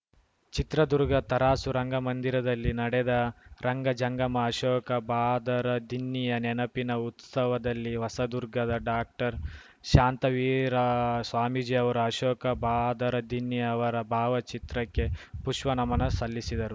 ಚಿತ್ರದುರ್ಗ ತರಾಸು ರಂಗಮಂದಿರದಲ್ಲಿ ನಡೆದ ರಂಗಜಂಗಮ ಅಶೋಕ ಬಾದರದಿನ್ನಿಯ ನೆನಪಿನ ಉತ್ಸವದಲ್ಲಿ ಹೊಸದುರ್ಗದ ಡಾಕ್ಟರ್ಶಾಂತವೀರ ಸ್ವಾಮೀಜಿ ಅವರು ಅಶೋಕ ಬಾದರದಿನ್ನಿ ಅವರ ಭಾವಚಿತ್ರಕ್ಕೆ ಪುಷ್ಪನಮನ ಸಲ್ಲಿಸಿದರು